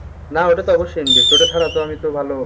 না ওটা তো অবশ্যই invest ওইটা ছাড়া তো আমি তো ভালো,